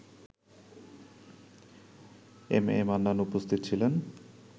M A Mannan উপস্থিত ছিলেন